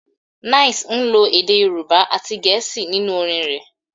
9ice ń lo èdè Yorùbá àti Gẹ̀ẹ́sì nínú orin rẹ̀